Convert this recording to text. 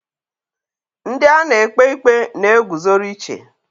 Ndi a na-ekpe ikpe na-eguzoro iche.